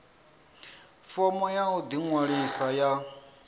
fomo ya u ḓiṅwalisa ya